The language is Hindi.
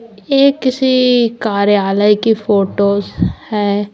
यह किसी कार्यालय की फोटोस हैं।